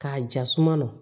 K'a jasuma na